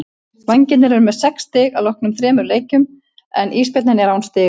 Vængirnir eru með sex stig að loknum þremur leikjum en Ísbjörninn er án stiga.